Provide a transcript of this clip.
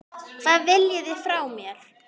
Hvað viljið þið frá mér?